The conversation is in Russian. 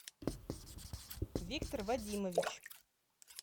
виктор вадимович